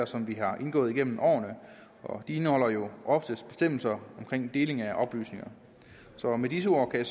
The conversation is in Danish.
som vi har indgået igennem årene og de indeholder jo ofte bestemmelser om deling af oplysninger med disse ord kan